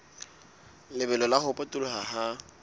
lebelo la ho potoloha ha